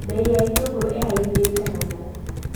Mbei ya itũngũrũ ĩhaimbĩte mũno.